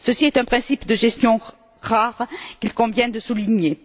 Ceci est un principe de gestion rare qu'il convient de souligner.